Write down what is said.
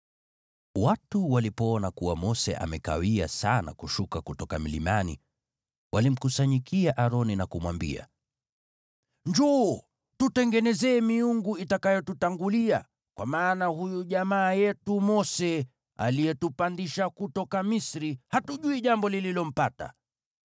Watu walipoona kuwa Mose amekawia sana kushuka kutoka mlimani, walimkusanyikia Aroni na kumwambia, “Njoo, tutengenezee miungu itakayotutangulia. Kwa maana huyu jamaa yetu Mose aliyetupandisha kutoka Misri, hatujui jambo lililompata.”